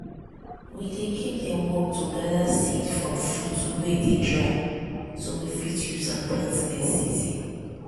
we dey give dem work to gather seed from fruit wey dey dry so we fit use am plant next season.